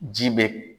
Ji be